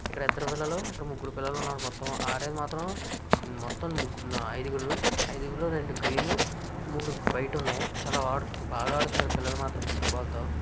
ఇక్కడ ఇద్దరు పిల్లలు ఇక్కడ ముగ్గురు పిల్లలు ఉన్నారు. మొత్తం ఆడేది మాత్రం మొత్తం ఐదుగురు ఇదుగురిలో రెండు గ్రీన్ మూడు వైట్ ఉన్నాయి. చాలా బాగా ఆడుతున్నారు. పిల్లలు మాత్రం ఫుట్ బాల్ తో--